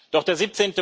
Doch der